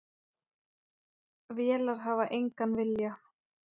Vélar hafa engan vilja.